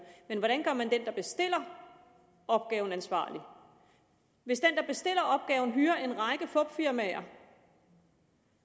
men hvordan gør man den der bestiller opgaven ansvarlig hvis den der bestiller opgaven hyrer en række fupfirmaer